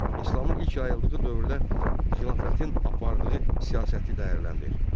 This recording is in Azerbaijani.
İslamın ilk yayıldığı dövrdə xilafətin apardığı siyasəti dəyərləndir.